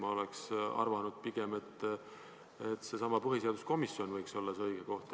Mina oleksin pigem arvanud, et seesama põhiseaduskomisjon võiks olla õige koht.